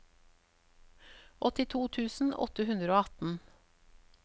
åttito tusen åtte hundre og atten